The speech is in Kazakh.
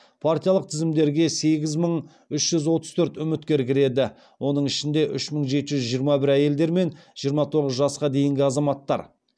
партиялық тізімдерге сегіз мың үш жүз отыз төрт үміткер кіреді оның ішінде үш мың жеті жүз жиырма бір әйелдер мен жиырма тоғыз жасқа дейінгі азаматтар